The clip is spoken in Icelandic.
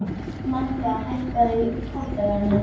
Manga, hækkaðu í græjunum.